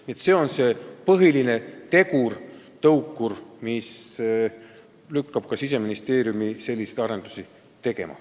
Nii et see on see põhiline tegur, tõukur, mis on lükanud ka Siseministeeriumi selliseid arendusi tegema.